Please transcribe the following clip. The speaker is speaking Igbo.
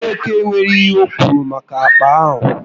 Mgbeke enwéghị ihe okwuru maka akpa ahụ